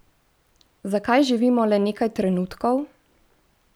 Zakaj živimo le nekaj trenutkov?